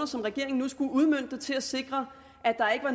som regeringen nu skulle udmønte til at sikre at der